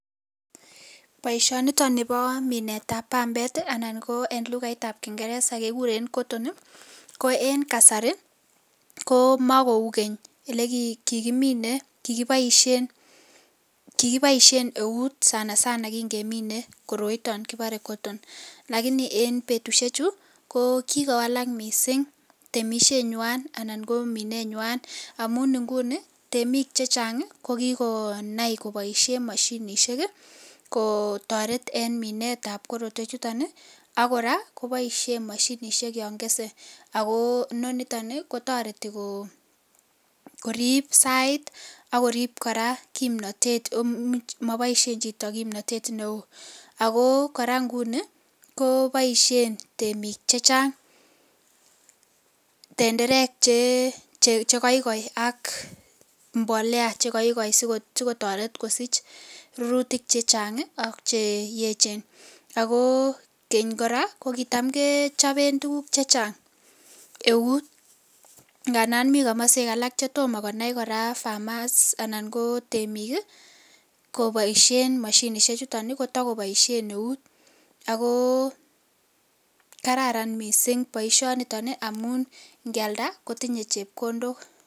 Baishoni niton Nebo Minet ab bambet anan ko en lugait ab kingeresa kekuren cotton Koen kasari komakou Keny elekikimine AK kebaishen eut sanasana kingemine koroiton kibare cotton lakini en betushek Chu ko kikowalak mising temishenywan anan ko minenywan amun inguni ko temik chechang kokikonai kobaishen mashinishek kotaret en Minet ab korotwek chuton akiraa kobaishen mashinishek Yan Kese akobinoniton kotareti korib sait akorib koraa kimnatet AK mabaishen Chito kimnatet neon akobkoraa nguni kobaishen temik chechang tenderek Che koikoi AK mbolea chekaikaen sikotaret kosich minutik chechang AK cheyechen akokeny koraa kokitÃ m kechoben tuguk chechang eutndandan mi kamaswek alak chetoma konaikoraa temik kobaishe mashinishek chuton takobaishen neut ako kararan mising baishoniton amun ngeyalda kotinye chepkondok